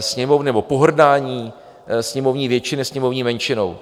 Sněmovny nebo pohrdání sněmovní většiny sněmovní menšinou.